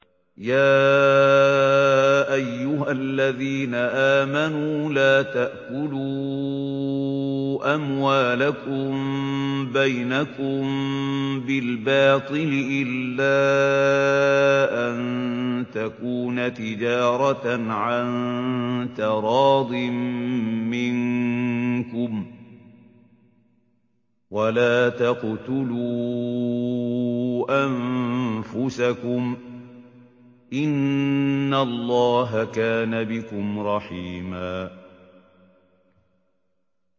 يَا أَيُّهَا الَّذِينَ آمَنُوا لَا تَأْكُلُوا أَمْوَالَكُم بَيْنَكُم بِالْبَاطِلِ إِلَّا أَن تَكُونَ تِجَارَةً عَن تَرَاضٍ مِّنكُمْ ۚ وَلَا تَقْتُلُوا أَنفُسَكُمْ ۚ إِنَّ اللَّهَ كَانَ بِكُمْ رَحِيمًا